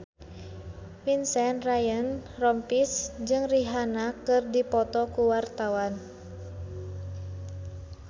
Vincent Ryan Rompies jeung Rihanna keur dipoto ku wartawan